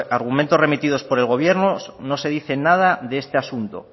argumentos remitidos por el gobierno no se dice nada de este asunto